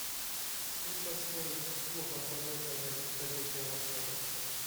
сколько стоит услуга полета на вертолете в отеле